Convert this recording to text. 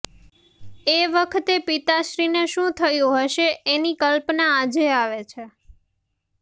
એ વખતે પિતાશ્રીને શું થયું હશે એની કલ્પના આજે આવે છે